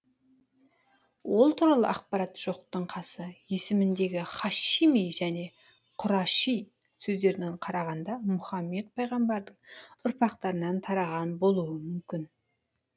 ол туралы ақпарат жоқтың қасы есіміндегі һашими және құраши сөздеріне қарағанда мұхаммед пайғамбардың ұрпақтарынан тараған болу мүмкін